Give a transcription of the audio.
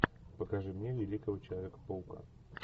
покажи мне великого человека паука